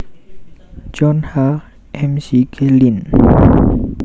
John H McGlynn